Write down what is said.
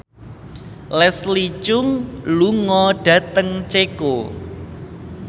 Leslie Cheung lunga dhateng Ceko